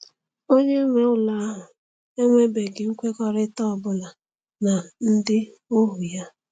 Onye nwe ụlọ ahụ enwebeghị nkwekọrịta ọ bụla na ndị ohu ya.